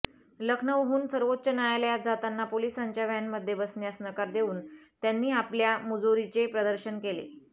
लखनौहून सर्वोच्च न्यायालयात जाताना पोलिसांच्या व्हॅनमध्ये बसण्यास नकार देऊन त्यांनी आपल्या मुजोरीचे प्रदर्शनही केले